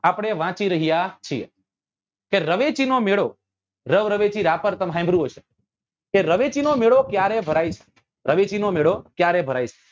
આપડે વાંચી રહ્યા છીએ કે રવેચી નો મેળો રવ રવેચી રાપર તમે સાંભળ્યું હશે કે રવેચી નો મેળો ક્યારે ભરાય છે રવેચી નો મેળો ક્યારે ભરાય છે